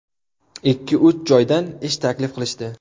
Ikki-uch joydan ish taklif qilishdi.